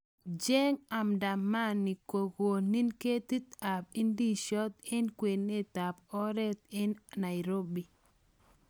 Cheng andamani kokomin kitit ap ndiziot eng kwenet ap oret enNairobi